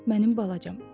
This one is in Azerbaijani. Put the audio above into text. Mənim balacam.